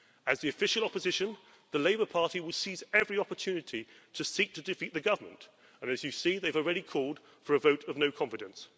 As the official opposition, the Labour Party will seize every opportunity to seek to defeat the government, and, as you see, they've already called for a vote of no confidence.